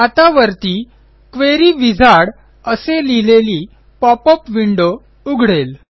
आता वरती query wizard असे लिहिलेली पॉपअप विंडो उघडेल